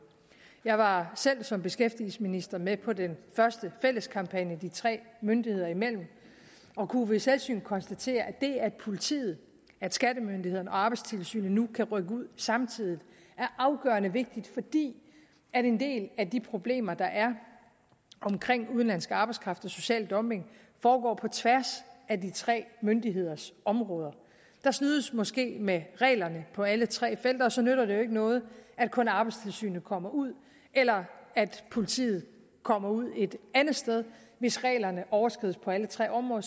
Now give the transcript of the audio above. jeg var selv som beskæftigelsesminister med på den første fælles kampagne de tre myndigheder imellem og kunne ved selvsyn konstatere at det at politiet skattemyndighederne og arbejdstilsynet nu kan rykke ud samtidig er afgørende vigtigt fordi en del af de problemer der er omkring udenlandsk arbejdskraft og social dumping går på tværs af de tre myndigheders områder der snydes måske med reglerne på alle tre felter og så nytter det jo ikke noget at kun arbejdstilsynet kommer ud eller at politiet kommer ud et andet sted hvis reglerne overskrides på alle tre områder